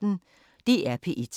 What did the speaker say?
DR P1